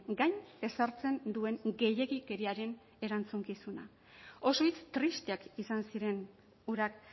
gain ezartzen duen gehiegikeriaren erantzukizuna oso hitz tristeak izan ziren hurak